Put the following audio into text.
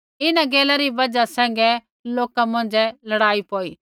इन्हां गैला री बजहा सैंघै लोका मौंझ़ै लड़ाई पौई